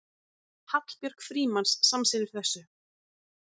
Hallbjörg Frímanns samsinnir þessu.